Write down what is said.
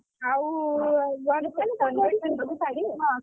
ଆଉ ଦେଇ ପିନ୍ଧି ଦବୁ ଶାଢୀଆଉ